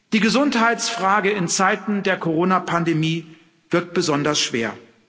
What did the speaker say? Die Gesundheitsfrage in Zeiten der Corona Pandemie wiegt besonders schwer.